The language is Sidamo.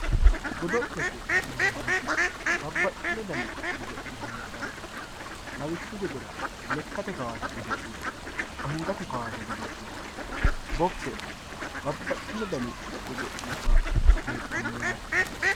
Godolete yinaniti babaxino dani gado'le heedhano, lawishu gedera lekate kaase godo'le angate kaase godo'le, bokkise babaxino dani godo'le heedhano yaate